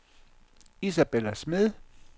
Isabella Smed